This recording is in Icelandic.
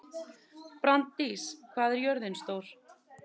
Branddís, hvað er jörðin stór?